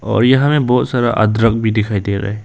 और यहां में बहुत सारा अदरक भी दिखाई दे रहा है।